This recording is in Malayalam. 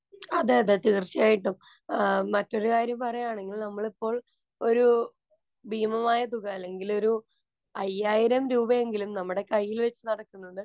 അതേയതെ, തീര്‍ച്ചയായിട്ടും. മറ്റൊരു കാര്യം പറയുകയാണെങ്കില്‍ നമ്മളിപ്പോള്‍ ഒരു ഭീമമായ തുക, അല്ലെങ്കില്‍ ഒരു അയ്യായിരം രൂപയെങ്കിലും നമ്മുടെകൈയില്‍ വച്ച് നടക്കുന്നത്